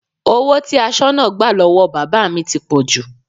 Owó tí asoná gbà lọ́wọ́ bàbá mi ti pọ̀jù